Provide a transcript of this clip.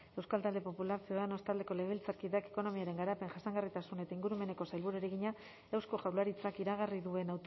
euskal talde popular ciudadanos taldeko legebiltzarkideak ekonomiaren garapen jasangarritasun eta ingurumeneko sailburuari egina eusko jaurlaritzak iragarri duen